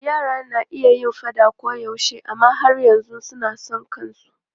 Yara na iya yin faɗa koyaushe amma har yanzu suna son kansu.